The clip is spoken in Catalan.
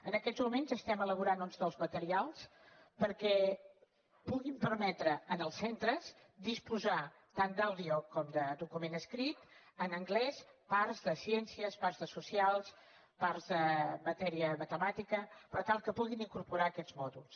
en aquests moments estem elaborant uns nous materials que puguin permetre als centres disposar tant d’àudio com de document escrit en anglès de parts de ciències parts de socials parts de matèria matemàtica per tal que puguin incorporar aquests mòduls